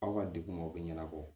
Aw ka degun o bɛ ɲɛnabɔ